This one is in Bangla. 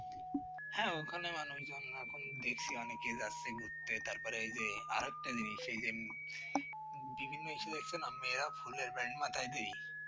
হ্যাঁ ওখানে মানুষজন এখন দেখছি অনেকে যাচ্ছে ঘুরতে তারপরে এই যে আর একটা জিনিস সেই দিন বিভিন্ন মেয়েরাও ফুলের band মাথায় দিয়ি